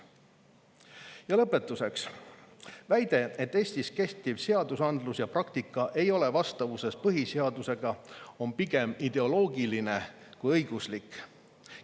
Ja lõpetuseks, väide, et Eestis kehtiv seadusandlus ja praktika ei ole vastavuses põhiseadusega, on pigem ideoloogiline kui õiguslik.